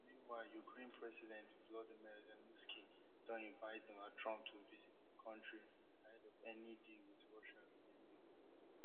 meanwhile ukraine president volodymyr zelensky don invite donald trump to visit im kontri ahead of any deal wit russia to end di war